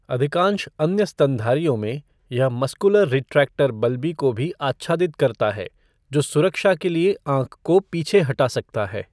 अधिकांश अन्य स्तनधारियों में, यह मस्कुलर रिट्रैक्टर बल्बी को भी आच्छादित करता है, जो सुरक्षा के लिए आँख को पीछे हटा सकता है।